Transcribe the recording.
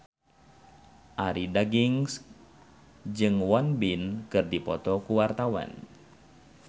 Arie Daginks jeung Won Bin keur dipoto ku wartawan